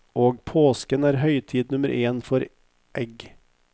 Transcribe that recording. Og påsken er høytid nummer én for egg.